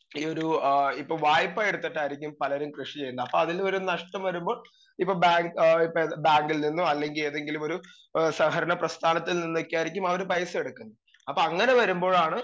speaker 2 ഈ ഒരു ഏ ഇപ്പം വായ്‌പ്പ എടുത്തിട്ടായിരിക്കും പലരും കൃഷി ചെയ്യുന്നത് അപ്പ അതിൽ നഷ്ട്ടം വരുമ്പോൾ ഇപ്പ ബാ ബാങ്കിൽ നിന്നോ അല്ലെങ്കി ഏതെങ്കിലുമൊരു ഏ സഹകരണ പ്രസ്ഥാനത്തിൽ നിന്നൊക്കെയായിരിക്കും അവര് പൈസ എടുക്കുന്നത് അപ്പ അങ്ങനെ വരുമ്പോഴാണ്